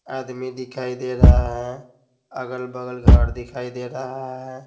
आदमी दिखाई दे रहा है अगल-बगल घर दिखाई दे रहा है।